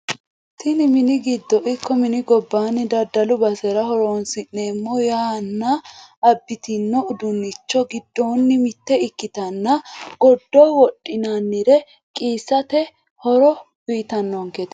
Tini mini giddo ikko mini gobanni daddalu basera horonsi'neemmo yanna abitino uduunichi giddonni mitte ikkitinoti goddo wodhinannire qiissate horo uytannonkete.